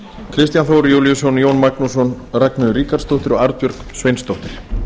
kristján þór júlíusson jón magnússon ragnheiður ríkharðsdóttir og arnbjörg sveinsdóttir